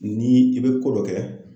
Ni i bɛ ko dɔ kɛ